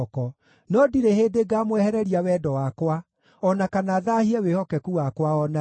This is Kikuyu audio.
no ndirĩ hĩndĩ ngaamwehereria wendo wakwa, o na kana thaahie wĩhokeku wakwa o na rĩ.